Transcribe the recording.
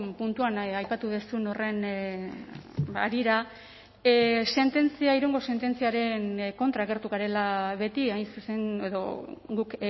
puntuan aipatu duzun horren harira sententzia irungo sententziaren kontra agertu garela beti hain zuzen edo guk